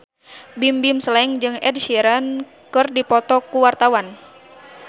Bimbim Slank jeung Ed Sheeran keur dipoto ku wartawan